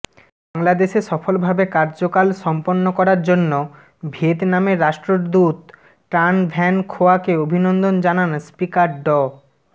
বাংলাদেশে সফলভাবে কার্যকাল সম্পন্ন করার জন্য ভিয়েতনামের রাষ্ট্রদূত ট্রান ভ্যান খোয়াকে অভিনন্দন জানান স্পিকার ড